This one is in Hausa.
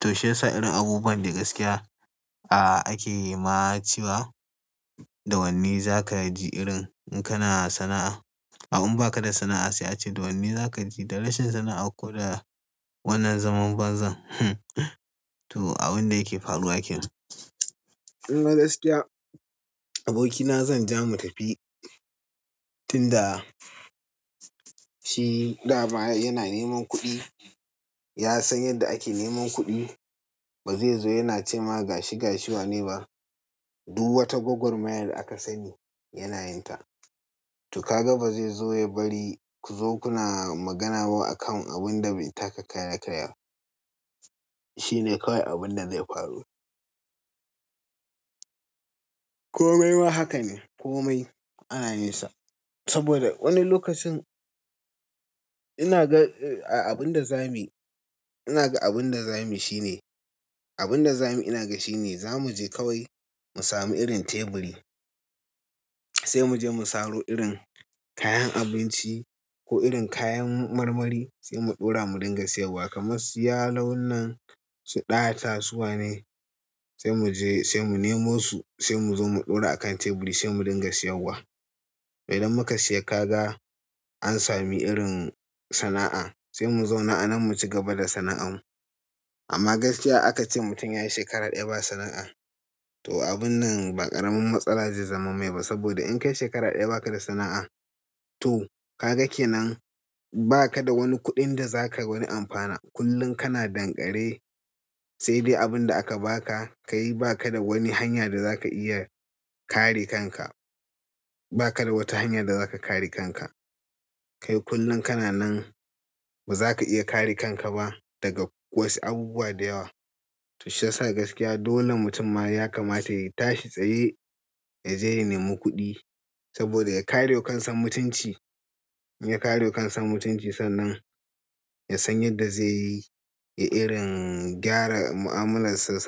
to shi yasa irin abubuwan da gaskiya a ake yi ma cewa da wanne za ka ji irin in kana sana'a. Au in ba ka da sana'a sai a ce da wanne za ka ji da rashin sana'a ko da wannan zaman bazan. To abun da yake faruwa ke nan. In gaskiya abokina zan ja mu tafi tunda shi dama yana neman kuɗi. Ya san yadda ake neman kuɗi. Ba zai zo yana ce ma gashi gashi wa ne ba. Duk wata gawagwar maya da akasani yana yinta to ka ga ba zai zo ya bari ku zo kuna magana ba akan abin da bai taka ƙara ya karya ba. Shi ne kawai abun da zai faru. Komai ma haka ne, komai ana yin sa saboda wani lokacin ina ga abin da za muyi ina ga abin da za mu shi ne, abin da za mu ina ga shi ne za mu je kawai mu sami irin teburi. Sai mu je mu saro irin kayan abinci ko irin kayan marmari sai mu ɗora mu dinga siyarwa. Kamar su ya lon nan irin su ɗatasu wa ne. Sai muje sai mune mosu sai mu ɗaura kan teburi sai mu rinƙa siyar wa idan muka siya kaga an sami irin sana'a sai mu zauna a nan mu cigaba da sana'an mu. Amma gaskiya aka ce mutum ya yi shekara ɗaya ba sana'a to abun nan ba ƙaramin matsala zai zama mai ba saboda in kai shekara ɗaya ba ka da sana'a to ka ga ke nan ba ka da wani kuɗin da za ka wani amfana. Kullum kana ɗan ƙare sai dai abunda aka baka kai baka da wani hanya da zaka iya kare kanka ba ka da wata hanya da za ka kare kanka. Kai kullum kana nan ba za ka iya kare kanka ba daga wasu abubuwa da yawa. To shi yasa gaskiya dole mutum ma ya kamata ya tashi tsaye ya je ya nemoikuɗi saboda ya kare wa kansa mutunci. In ya karewa kansa mutunci sannan ya san yadda zai yi irin gyara ma'amulansa.